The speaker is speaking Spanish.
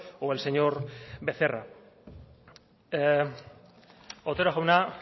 o el señor becerra otero jauna